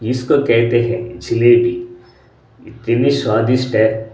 इसको कहते हैं जिलेबी इतनी स्वादिष्ट है।